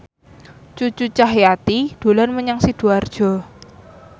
Cucu Cahyati dolan menyang Sidoarjo